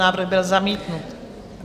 Návrh byl zamítnut.